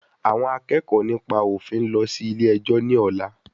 Àwọn akẹ́kọ̀ọ́ nípa òfin ń lọ sí ilé ẹjọ́ ni ọ̀la